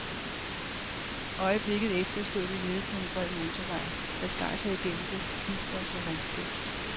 Øjeblikket efter stod vi nede på en bred motorvej, der skar sig igennem det stivfrosne landskab.